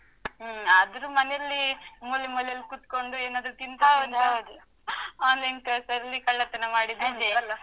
ಹ್ಮ್. ಆದ್ರೂ ಮನೆಲ್ಲೀ ಮೂಲೆಮೂಲೆಯಲ್ಲ್ ಕೂತ್ಕೊಂಡು, ಏನಾದ್ರೂ ತಿಂತಾ online class ಲ್ಲಿ ಕಳ್ಳತನ ಮಾಡಿದ್ದಿದೆ ಅಲ?